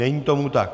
Není tomu tak.